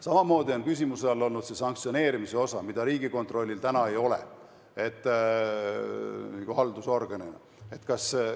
Samamoodi on küsimuse all olnud see sanktsioneerimise osa, mida Riigikontrollil kui haldusorganil praegu ei ole.